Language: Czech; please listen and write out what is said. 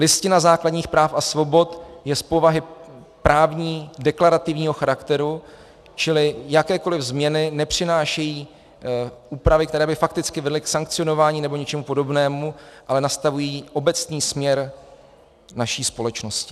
Listina základních práv a svobod je z povahy právní deklarativního charakteru, čili jakékoliv změny nepřinášejí úpravy, které by fakticky byly k sankcionování nebo něčemu podobnému, ale nastavují obecný směr naší společnosti.